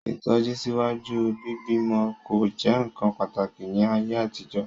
Itọju síwájú bíbí'mọ ko jẹ nkán pàtàkì ni ayé àtijọ́.